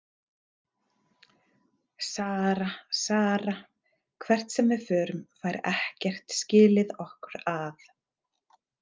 Sara, Sara, hvert sem við förum, fær ekkert skilið okkur að.